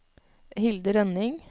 Hilde Rønning